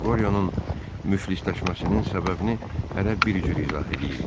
Qoryonun müflisləşməsinin səbəbini hərə bir cür izah eləyirdi.